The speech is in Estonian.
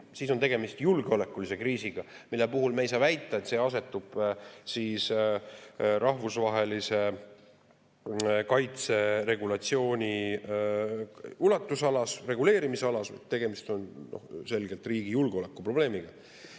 Ja siis on tegemist julgeolekulise kriisiga, mille puhul me ei saa väita, et see asub rahvusvahelise kaitse regulatsiooni ulatusalas, vaid tegemist on selgelt riigi julgeolekuprobleemiga.